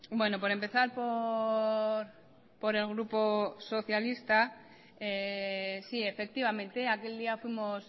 bueno por empezar por el grupo socialista sí efectivamente aquel día fuimos